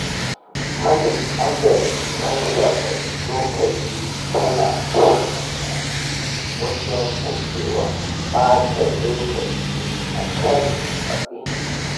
Manhajar rarraba lokaci tana taimaka masa wajen guje wa ɓata lokaci akan abinci.